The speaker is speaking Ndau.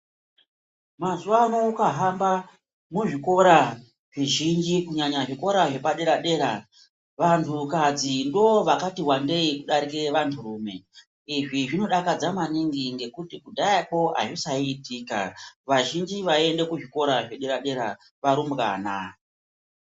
Mazuwaano ukahamba muzvikora zvizhinji, kunyanya zvikora zvepadera-dera, vantukadzi ndovakati wandei kudarike vanturume. Izvi zvinodakadza maningi, ngekuti kudhayako, azvisaiitika. Vazhinji vaiende kuzvikora zvedera- dera varumbwana.